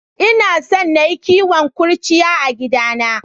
Ina son na yi kowon kurciya a gidana.